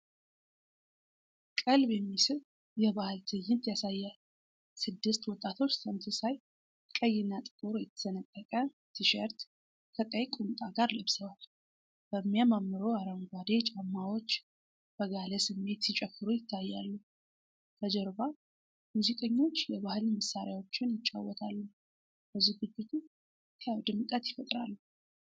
ቀልብ የሚስብ የባህል ትዕይንት ያሳያል። ስድስት ወጣቶች ተመሳሳይ ቀይና ጥቁር የተሰነጠቀ ቲሸርት ከቀይ ቁምጣ ጋር ለብሰዋል። በሚያማምሩ አረንጓዴ ጫማዎች፣ በጋለ ስሜት ሲጨፍሩ ይታያሉ። ከጀርባ፣ ሙዚቀኞች የባህል መሣሪያዎችን ይጫወታሉ፤ ለዝግጅቱ ህያው ድምቀት ይፈጥራሉ።